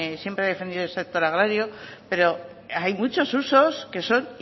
siempre he defendido el sector agrario pero hay muchos usos que son